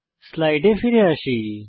স্লাইডে ফিরে আসি